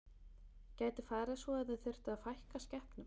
Gæti farið svo að þið þyrftuð að fækka skepnum?